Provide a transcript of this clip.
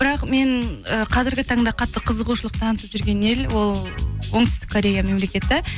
бірақ мен э қазіргі таңда қатты қызығушылық танытып жүрген ел ол оңтүстік корея мемлекеті